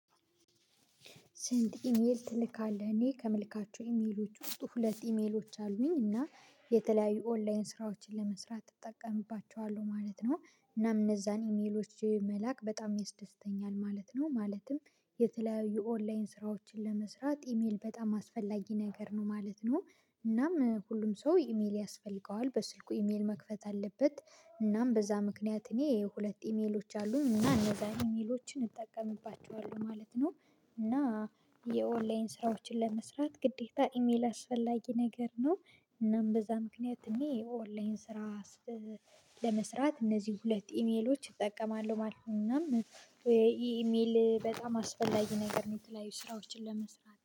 ስንት ኢሜል ትልካለህ? እኔ ከምልካቸው ኢሜሎች ውስጥ ሁለት ኢሜሎች አሉኝ እና የተለያዩ ኦንላይን ስራዎችን ለመስራት እጠቀምባቸዋለሁ ማለት ነው። እና እነዛን ኢሜሎች መላክ በጣም ያስደስተኛል ማለት ነው ማለትም የተለያዩ ኦንላይን ስራዎችን ለመስራት ኢሜል በጣም አስፈላጊ ነገር ነው ማለት ነው። እናም ሁሉም ሰው ኢሜል ያስፈልገዋል በስልኩ ኢሜል መክፈት አለበት እናም በዛ ምክንያት እኔ ሁለት ኢሜሎች አሉኝ እና እነዛ ኢሜሎችን እጠቀምባቸዋለሁ ማለት ነው። እና የኦንላይን ስራዎችን ለመስራት ግዴታ ኢሜል አስፈላጊ ነገር ነው። እናም በዛ ምክንያት እኔ ኦንላይን ስራ ለመስራት እነዚህ ሁለት ኢሜሎች እጠቀማለሁ ማለት ነው። እናም ኢሜል በጣም አስፈላጊ ነገር የተለያዩ ስራዎችን ለመስራት